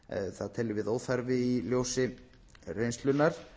það teljum við óþarfa í ljósi reynslunnar